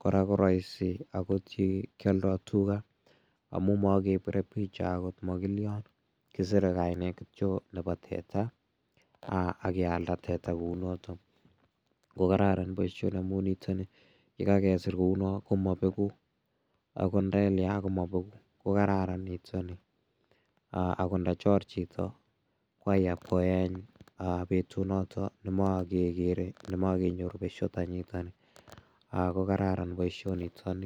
kora ko raisi akot yekioldoi tuga amu makepire picha agot makilio kiserei kainet kityo nebo teta akealda teta kou noto ko kararan boishoni amu nitoni yekakesir kou no komabeku akot ndelia komabeku ko kararan nitoni akot ndachor chito ko aya pkoeny betunoto nemakekere nemakenyoru besho tanyita ko kararan boishonitoni